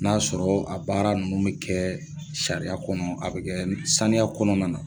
N'a y'a sɔrɔ a baara ninnu bɛ kɛ sariya kɔnɔ, a bɛ kɛ saniya kɔnɔna na.